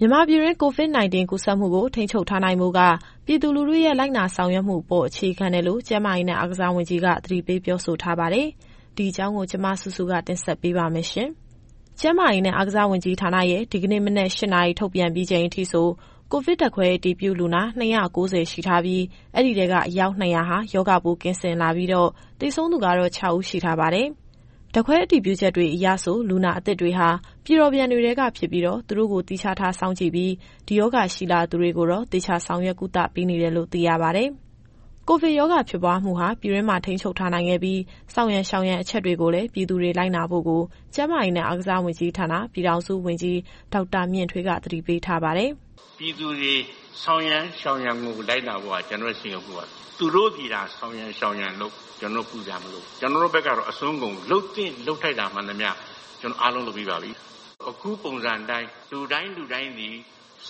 မြန်မာပြည်တွင်း COVID-19 ကူးစက်မှုကို ထိန်းချုပ်ထားနိုင်ဖို့က ပြည်သူလူထုရဲ့ လိုက်နာဆောင်ရွက်မှုအပေါ် အခြေခံတယ်လို့ ကျန်းမာရေးနဲ့ အားကစားဝန်ကြီးက သတိပေးပြောဆိုထားပါတယ်။ ဒီအကြောင်းကို ဗွီအိုအေမြန်မာပိုင်းသတင်းထောက် မစုစုက ပြောပြသွားမှာပါ။ ကျန်းမာရေးနဲ့ အားကစားဝန်ကြီးဌာနရဲ့ ဒီကနေ့မနက် ၈ နာရီ ထုတ်ပြန်ပြီးချိန်အထိဆို ကိုဗစ်ဓာတ်ခွဲအတည်ပြုလူနာ ၂၉၀ ရှိထားပြီး၊ အဲဒီထဲက အယောက် ၂၀၀ ဟာ ရောဂါပိုးကင်းစင်လာပြီးတော့ သေဆုံးသူကတော့ ၆ ဦး ရှိထားပါတယ်။ ဓာတ်ခွဲအတည်ပြုချက်တွေအရဆို လူနာအသစ်တွေဟာ ပြည်တော်ပြန်တွေထဲက ဖြစ်ပြီးတော့ သူတို့ကို သီးခြားထားစောင့်ကြည့်ပြီး ဒီရောဂါရှိလာသူတွေကိုတော့ သေချာဆောင်ရွက်ကုသပေးနေတယ်လို့ သိရပါတယ်။ ကိုဗစ်ရောဂါဖြစ်ပွားမှုဟာ ပြည်တွင်းမှာ ထိန်းချုပ်ထားနိုင်ခဲ့ပြီး ဆောင်ရန်ရှောင်ရန်အချက်တွေကိုလည်း ပြည်သူတွေလိုက်နာဖို့ကို ကျန်းမာရေးနဲ့ အားကစားဝန်ကြီးဌာန ပြည်ထောင်စုဝန်ကြီး ဒေါက်တာမြင့်ထွေးက သတိပေးထားပါတယ်။ “ပြည်သူတွေ ဆောင်ရန်၊ ရှောင်ရန်ကို လိုက်နာဖို့က ကျနော်တို့ရဲ့စိန်ခေါ်မှုပါ။ သူတို့သည်သာ ဆောင်ရန်၊ ရှောင်ရန်လုပ် ကျနော်တို့ ပူစရာမလိုဘူး။ ကျနော်တို့ဘက်ကတော့ အစွမ်းကုန်လုပ်သင့်လုပ်ထိုက်တာ မှန်သမျှအားလုံးလုပ်ပြီးပါပြီ။ အခုပုံစံအတိုင်း လူတိုင်းလူတိုင်းသည်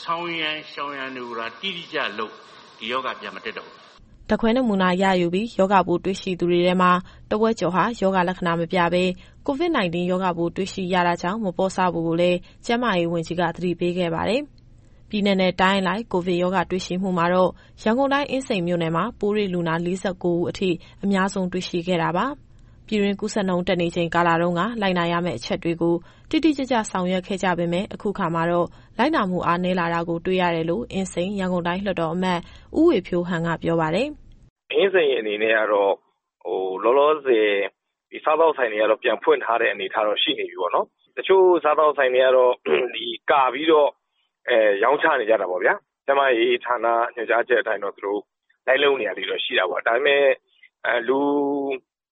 ဆောင်ရန်၊ ရှောင်ရန်တွေကိုသာ တိတိကျကျလုပ် ဒီရောဂါပြန်မတက်တော့ဘူး။” ဓါတ်ခွဲနမူနာယူပြီး ရောဂါပိုးတွေ့ရှိသူတွေထဲမှာ တဝက်ကျော်ဟာ ရောဂါလက္ခဏာ မပြဘဲ COVID-19 ရောဂါပိုးတွေ့ရှိရတာကြောင့် မပေါ့ဆဖို့ကိုလည်း ကျန်းမာရေးဝန်ကြီးက သတိပေးခဲ့ပါတယ်။ ပြည်နယ်နဲ့တိုင်းအလိုက် ကိုဗစ်ရောဂါတွေ့ရှိမှုမှာတော့ ရန်ကုန်တိုင်း၊ အင်းစိန်မြို့နယ်မှာ ပိုးတွေ့လူနာ ၄၉ ဦးအထိ အများဆုံးတွေ့ရှိခဲ့တာပါ။ ပြည်တွင်းကူးစက်နှုန်းတက်နေချိန် ကာလတုန်းက လိုက်နာရမယ့်အချက်တွေကို တိတိကျကျ ဆောင်ရွက်ခဲ့ကြပေမယ့် အခုခါမှာတော့ လိုက်နာမှု အားနည်းလာတာကို တွေ့ရတယ်လို့ အင်းစိန်၊ ရန်ကုန်တိုင်းလွှတ်တော်အမတ် ဦးဝေဖြိုးဟန်က ပြောပါတယ်။ “အင်းစိန်အနေနဲ့ကတော့ လောလောဆယ် စားသောက်ဆိုင်တွေကတော့ ပြန်ဖွင့်နေတဲ့အနေအထားရှိနေပြီပေါ့နော်။ တချို့စားသောက်ဆိုင်တွေကတော့ ကာပြီးတော့ရောင်းချနေကြတာပေါ့ဗျာ။ ကျန်းမာရေးဌာနညွှန်ကြားချက်အတိုင်းတော့ သူတို့လိုက်လုပ်နေတာလေးတွေတော့ ရှိတာပေါ့။ ဒါပေမဲ့ လူ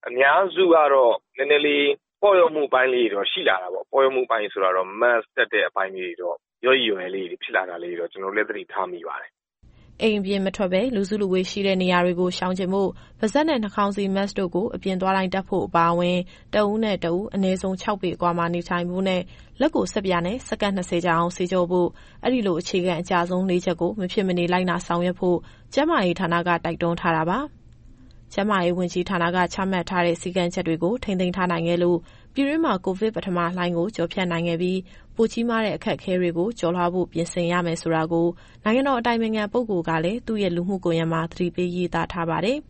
အများစုကတော့ နည်းနည်းလေး ပေါ့လျော့မှုအပိုင်းလေးတွေတော့ ရှိလာတာပေါ့။ ပေါ့လျော့မှုအပိုင်းဆိုတာကတော့ Mask တပ်တဲ့အပိုင်းလေးတွေတော့ လျော့ရိလျော့ရဲဖြစ်လာတာတွေတော့ ကျနော်တို့လည်း သတိထားမိပါတယ်။” အိမ်ပြင်မထွက်ဘဲ လူစုလူဝေးရှိတဲ့နေရာတွေကို ရှောင်ကြဉ်ဖို့၊ ပါးစပ်နဲ့နှာခေါင်းစည်း Mask တို့ကို အပြင်သွားတိုင်းတပ်ဖို့အပါအဝင် တဦးနဲ့တဦး အနည်းဆုံး ၆ ပေအကွာမှာနေထိုင်ဖို့နဲ့ လက်ကိုဆပ်ပြာနဲ့ စက္ကန့် ၂၀ ကြာအောင်ဆေးကြောဖို့။ အဲဒီလိုအခြေခံအကျဆုံး ၄ချက်ကို မဖြစ်မနေလိုက်နာကျင့်သုံးဖို့ ကျန်းမာရေးဌာနက တိုက်တွန်းထားတာပါ။ ကျန်းမာရေးဝန်ကြီးဌာနက ချမှတ်ထားတဲ့ စည်းကမ်းချက်တွေကို ထိန်းသိမ်းထားနိုင်ခဲ့လို့ ပြည်တွင်းမှာ ကိုဗစ်ပထမလှိုင်းကို ကျော်ဖြတ်နိုင်ခဲ့ပြီး ပိုကြီးမားတဲ့ အခက်အခဲတွေကို ကျော်လွှားဖို့ ပြင်ဆင်ရမယ်ဆိုတာကို နိုင်ငံတော်အတိုင်ပင်ခံပုဂ္ဂိုလ်ကလည်း သူရဲ့လူမှုကွန်ယက်မှာ သတိပေးရေးသားထားပါတယ်။